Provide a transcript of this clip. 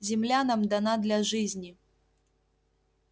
земля нам дана для жизни